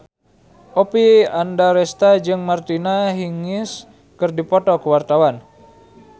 Oppie Andaresta jeung Martina Hingis keur dipoto ku wartawan